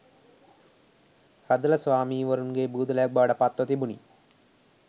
රදළ ස්වාමීවරුන්ගේ බූදලයක් බවට පත්ව තිබුණි